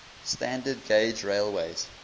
standard gauge railways